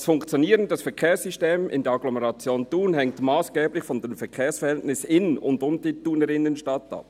«Das Funktionieren des Verkehrssystems in der Agglomeration Thun hängt massgeblich von den Verkehrsverhältnissen in und um die Thuner Innenstadt ab.